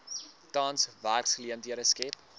tans werksgeleenthede skep